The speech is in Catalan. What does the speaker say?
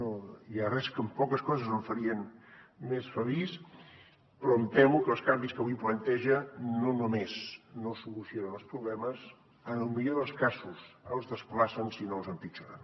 no hi ha res que amb poques coses em farien més feliç però em temo que els canvis que avui planteja no només no solucionen els problemes en el millor dels casos els desplacen si no els empitjoren